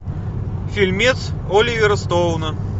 фильмец оливера стоуна